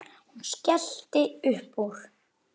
Hún skellti upp úr.